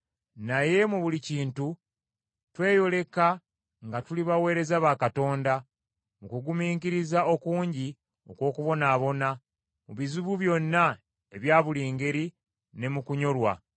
naye mu buli kintu tweyoleka nga tuli baweereza ba Katonda, mu kugumiikiriza okungi okw’okubonaabona, mu bizibu byonna ebya buli ngeri, ne mu kunyolwa,